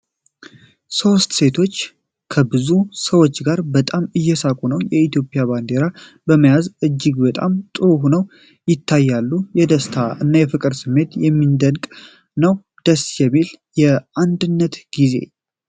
ሦስት ሴቶች ከብዙ ሰዎች ጋር በጣም እየሳቁ ነው። የኢትዮጵያን ባንዲራ በመያዝ እጅግ በጣም ጥሩ ሆነው ይታያሉ። የደስታ እና የፍቅር ስሜት የሚደንቅ ነው። ደስ የሚል የአንድነት ጊዜ!